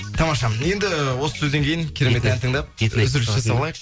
тамаша енді осы сөзден кейін керемет ән тыңдап үзіліс жасап алайық